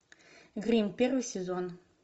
гримм первый сезон